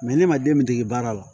ne ma den dege baara la